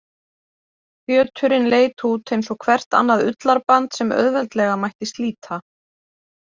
Fjöturinn leit út eins og hvert annað ullarband sem auðveldlega mætti slíta.